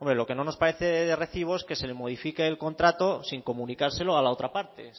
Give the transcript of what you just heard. lo que no nos parece de recibo es que se le modifique el contrato sin comunicárselo a la otra parte